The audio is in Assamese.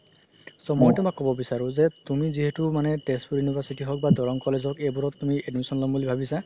so মই তুমাক ক'ব বিচাৰো যে তুমি যিহেতু মানে তেজপুৰ university হওক বা দৰনং college হওক এইবোৰত তুমি admission ল'ম বুলি ভাবিছা